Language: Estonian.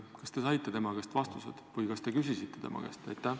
Kas te saite tema käest vastused või kas te küsisite tema käest?